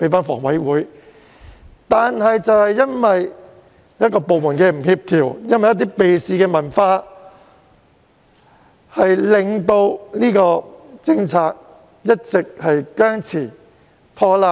可是，因為有部門不協調，因為避事文化，以至這安排一直僵持或拖拉。